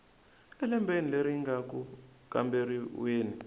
elembeni leri nga ku kamberiweni